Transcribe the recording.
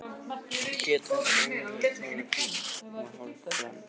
Hún hét reyndar Ólafía Tolafie og var hálf frönsk